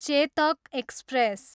Chetak express